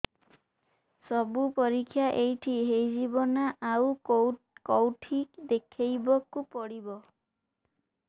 ସବୁ ପରୀକ୍ଷା ଏଇଠି ହେଇଯିବ ନା ଆଉ କଉଠି ଦେଖେଇ ବାକୁ ପଡ଼ିବ